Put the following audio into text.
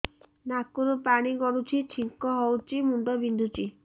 ନାକରୁ ପାଣି ଗଡୁଛି ଛିଙ୍କ ହଉଚି ମୁଣ୍ଡ ବିନ୍ଧୁଛି